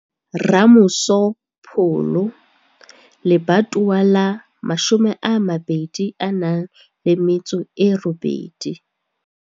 Ramoso Pholo lebatowa la 28.